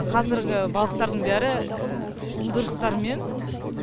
қазіргі балықтардың бәрі уылдырықтарымен